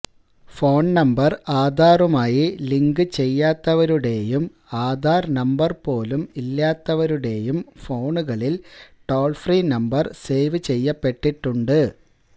phone number ആധാറുമായി link ചെയ്യാത്തവരുടേയും Aadhaar number പോലും ഇല്ലാത്തവരുടേയും ഫോണുകളില് ടോള് ഫ്രീ നമ്പര് സേവ് ചെയ്യപ്പെട്ടിട്ടുണ്ട്